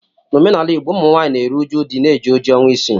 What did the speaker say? N' omenala Igbo, Ụmụnwaanyị na-eru uju di na-eji oji ọnwa isii